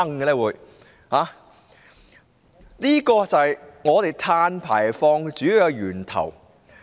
這便是香港碳排放的主要源頭。